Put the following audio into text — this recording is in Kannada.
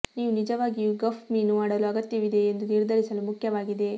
ನೀವು ನಿಜವಾಗಿಯೂ ಗಫ್ ಮೀನು ಮಾಡಲು ಅಗತ್ಯವಿದೆಯೇ ಎಂದು ನಿರ್ಧರಿಸಲು ಮುಖ್ಯವಾಗಿದೆ